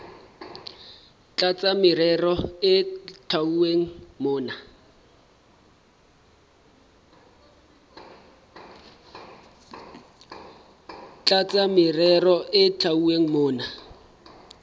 tlasa merero e hlwauweng mona